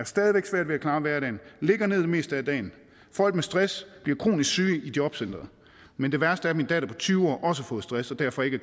stadig væk svært ved at klare hverdagen ligger ned det meste af dagen folk med stress bliver kronisk syge i jobcenteret men det værste er at min datter på tyve år også har fået stress og derfor ikke